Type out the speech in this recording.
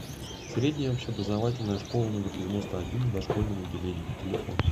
средняя общеобразовательная школа номер девяносто один с дошкольным отделением телефон